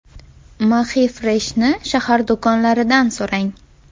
MAXIFRESH’ni shahar do‘konlaridan so‘rang!